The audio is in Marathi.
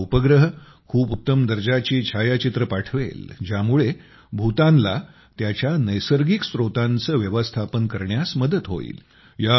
हा उपग्रह खूप उत्तम दर्जाची छायाचित्रे पाठवेल ज्यामुळे भूतानला त्याच्या नैसर्गिक स्रोतांचे व्यवस्थापन करण्यास मदत होईल